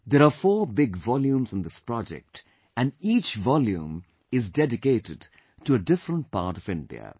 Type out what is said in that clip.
There are four big volumes in this project and each volume is dedicated to a different part of India